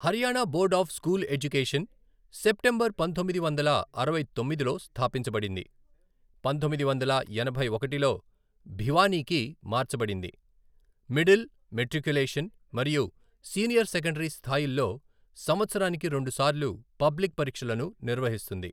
Haryana board of school education, September పంతొమ్మిది వందల అరవై తొమ్మిదిలో స్థాపించబడింది, పంతొమ్మిది వందల ఎనభై ఒకటిలో భివానీకి మార్చబడింది, మిడిల్, మెట్రిక్యులేషన్ మరియు సీనియర్ సెకండరీ స్థాయిల్లో సంవత్సరానికి రెండుసార్లు పబ్లిక్ పరీక్షలను నిర్వహిస్తుంది.